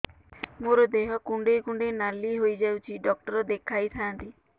ମୋର ଦେହ କୁଣ୍ଡେଇ କୁଣ୍ଡେଇ ନାଲି ହୋଇଯାଉଛି ଡକ୍ଟର ଦେଖାଇ ଥାଆନ୍ତି